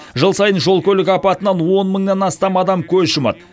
жыл сайын жол көлік апатынан он мыңнан астам адам көз жұмады